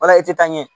Wala e tɛ taa ɲɛ